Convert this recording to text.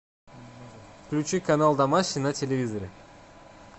включи канал домашний на телевизоре